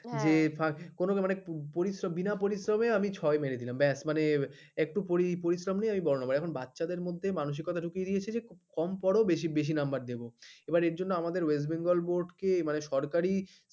হ্যাঁ যে ফাক কোন ব্যাপার না মানে পরিশ্রম বিনা পরিশ্রমে ছয় মেরে দিলাম ব্যাস মানে একটু পরিশ্রম নেই বড় হয়ে যাব মানে বাচ্চাদের মধ্যে মানসিকতা ঢুকিয়ে দিয়েছে কম পড়া বেশি নাম্বার দেব এর জন্য আমাদের west bengal board সরকারি